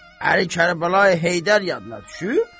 Əli Kərbəlayi Heydər yadına düşüb?